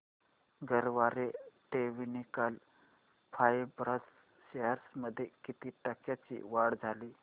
Garware technical fibres shares मध्ये किती टक्क्यांची वाढ झाली